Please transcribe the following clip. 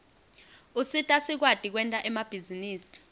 usita sikwati kwenta emabhizinisi